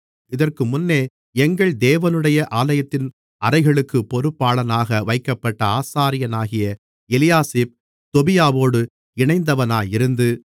இதற்குமுன்னே எங்கள் தேவனுடைய ஆலயத்தின் அறைகளுக்குப் பொறுப்பாளனாக வைக்கப்பட்ட ஆசாரியனாகிய எலியாசிப் தொபியாவோடு இணைந்தவனாயிருந்து